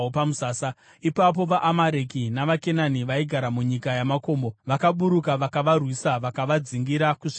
Ipapo vaAmareki navaKenani vaigara munyika yamakomo vakaburuka vakavarwisa vakavadzingirira kusvikira kuHoma.